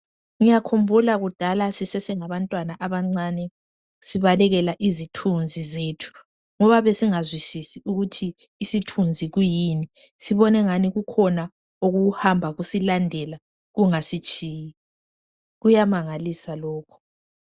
Ngiyakhumbula kudala sisese ngabantwana abancane sibalekela izithunzi zethu ngoba besingazwisisi ukuthi isithunzi kuyini ibone ngani kukhona okuhamba kusilandela kungasitshiyi kuyamangalisa lokhu.